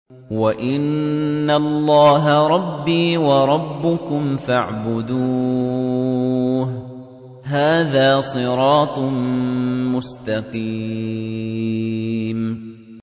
وَإِنَّ اللَّهَ رَبِّي وَرَبُّكُمْ فَاعْبُدُوهُ ۚ هَٰذَا صِرَاطٌ مُّسْتَقِيمٌ